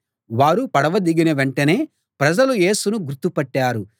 వారు పడవ దిగిన వెంటనే ప్రజలు యేసును గుర్తుపట్టారు